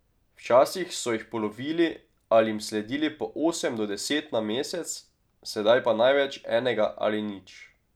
Včasih so jih polovili ali jim sledili po osem do deset na mesec, sedaj pa največ enega ali nič.